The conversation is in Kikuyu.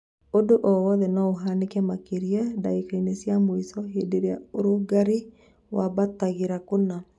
ũndũ o wothe nũũhanĩke, makĩria ndagĩka-inĩ cia mũico hĩndĩ ĩrĩa ũrugarĩ wambatagĩra kũna